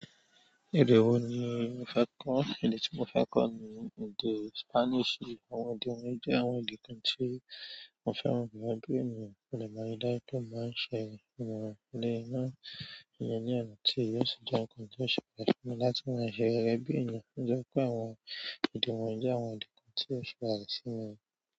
Èdè wo ni ó fẹ́ kọ́? Èdè tí mo fẹ́ kọ́ ní èdè Spanish. Àwọn èdè wọ̀nyí jẹ àwọn èdè tí mo fẹ́ràn gẹgẹbi ènìyàn, modern ríi dájú pé mo ṣe àwọn eléyi náà iyẹn ni ọ̀nà tí o tọ àti ní ọ̀nà tí ó yẹ, tí o sì jẹ ǹkan tí o ṣe pàtàkì fún mi láti máa ṣe gẹgẹbi ènìyàn, tó jẹ́ pé àwọn èdè wọ̀nyí jẹ àwọn ìdí tí o ṣe pàtàkì ìsinmi.